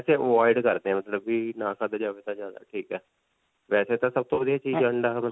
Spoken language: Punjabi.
ਓਹ avoid ਕਰਦੇ ਹੈ ਮਤਲਬ ਵੀ ਨਾ ਖਾਦਾ ਜਾਵੇ ਤਾਂ ਠੀਕ ਹੈ. ਵੈਸੇ ਤਾਂ ਸਭ ਤੋਂ ਵਧੀਆ ਚੀਜ ਅੰਡਾ.